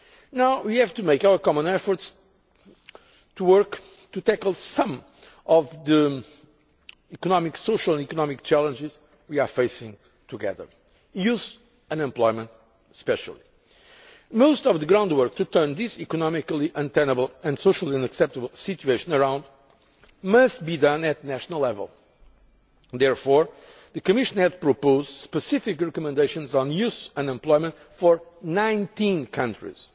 Now, we have to make our common efforts to work to tackle some of the social and economic challenges we are facing together youth unemployment especially. Most of the groundwork to turn this economically untenable and socially unacceptable situation around must be done at national level. Therefore, the Commission has proposed specific recommendations on youth unemployment for 19 countries